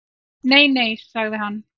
Nei nei, sagði hann.